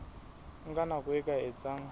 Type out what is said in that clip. nka nako e ka etsang